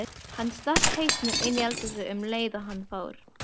Hann stakk hausnum inní eldhúsið um leið og hann fór.